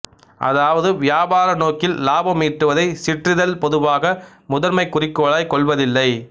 அதாவது வியாபார நோக்கில் இலாபம் ஈட்டுவதை சிற்றிதழ் பொதுவாக முதன்மைக் குறிக்கோளாய் கொள்வதில்லை